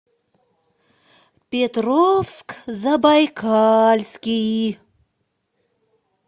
петровск забайкальский